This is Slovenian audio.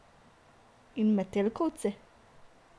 In metelkovci?